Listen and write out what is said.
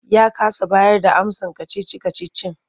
Ya kasa bayarda amsar kacici-kacicin.